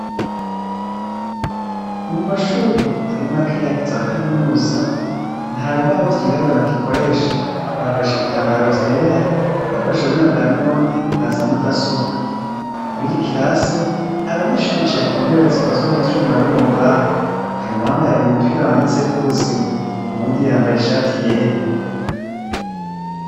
Mu mashuri atari makeyak za kaminusa nta bibaho vyirabura bakikoresha bakoresha ibitambaro vyera bakoreshe ububinya bwa none na za mudasobwa mwigikirase abanyeshuri bicaye ku ntebe zikozwe mu vyuma no mu mbaho hari wambaye umupira wanditseko ubuzima uwundi yambaye ishati yera.